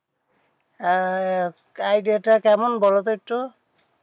আহ idea তা কেমন বোলো তো একটু?